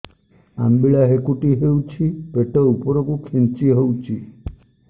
ଅମ୍ବିଳା ହେକୁଟୀ ହେଉଛି ପେଟ ଉପରକୁ ଖେଞ୍ଚି ହଉଚି